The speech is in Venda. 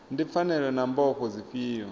ndi pfanelo na mbofho dzifhio